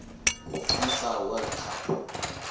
fifa world cup